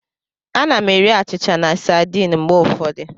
Ana m eri achịcha na sardine mgbe ụfọdụ.